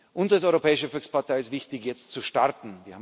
Uns als Europäischer Volkspartei ist es wichtig, jetzt zu starten.